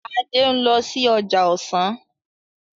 Ade nlò sí ọjà ọsán